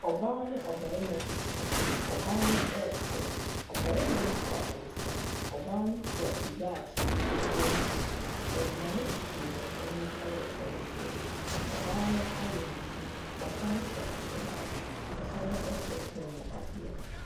Ɔbaa ne ɔbarima bi te hɔ. Ɔbaa no resere. Ɔbarima no no kura nsa. Ɔbaa no kura kube a kyiniiɛ ketewa bi si so. Aduane sisi wɔn anim wɔ kyɛnse mu. Ɔbaa no ayɛ ne ti, ɔsane hyɛ atadeɛ, ɔsane hyɛ kɔnmuadeɛ.